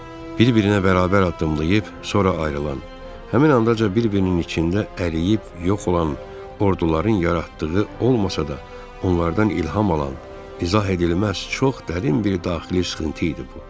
Bir-birinə bərabər addımlayıb, sonra ayrılan, həmin andaca bir-birinin içində əriyib yox olan orduların yaratdığı olmasa da, onlardan ilham alan izah edilməz, çox dərin bir daxili sıxıntı idi bu.